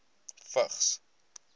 vigs